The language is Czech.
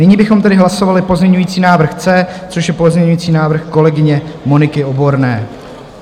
Nyní bychom tedy hlasovali pozměňovací návrh C, což je pozměňující návrh kolegyně Moniky Oborné.